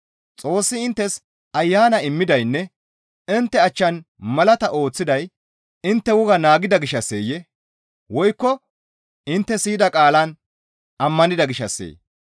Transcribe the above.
Xoossi inttes Ayana immidaynne intte achchan malaata ooththiday intte woga naagida gishshasseyee? Woykko intte siyida qaalaan ammanida gishshasseyee?